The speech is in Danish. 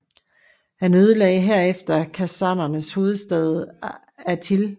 Han ødelagde herefter khazarernes hovedstad Atil